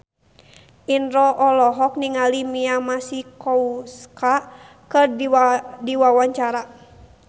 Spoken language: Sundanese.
Indro olohok ningali Mia Masikowska keur diwawancara